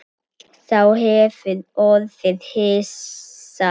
Sá hefur orðið hissa